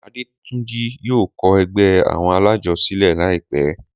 Adétúnjí yóò kọ ẹgbẹ́ àwọn alájọ sílẹ̀ láìpẹ́.